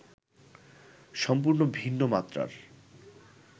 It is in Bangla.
সম্পূর্ণ ভিন্ন মাত্রার